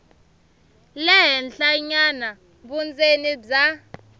le henhlanyana vundzeni bya